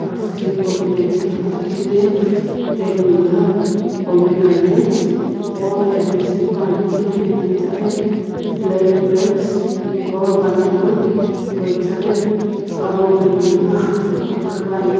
azuto hipolono ithulu akeu ye table la pomegranate gho arrange shila ne ano ithaghi black grapes gho banana about green lono aghathi gho ghipane.